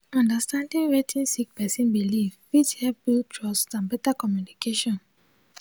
understanding wetin sik person biliv fit hep build trust and better communication.